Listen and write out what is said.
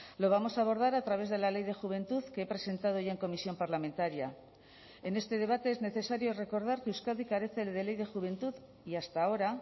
lo vamos a abordar a través de la ley de juventud que he presentado ya en comisión parlamentaria en este debate es necesario recordar que euskadi carece de ley de juventud y hasta ahora